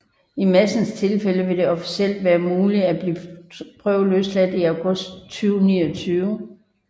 I Madsens tilfælde vil det officielt være muligt at blive prøveløsladt i august 2029